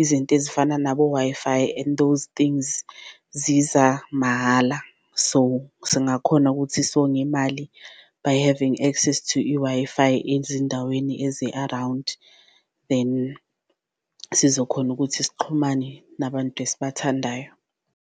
izinto ezifana nabo-Wi-Fi and those things ziza mahhala. So singakhona ukuthi songe imali by having access to i-Wi-Fi ezindaweni ezi-around, then sizokhona ukuthi sixhumane nabantu esibathandayo.